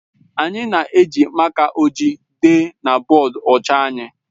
Anyị na-eji máká ojii dee na bọọdụ ọcha anyị.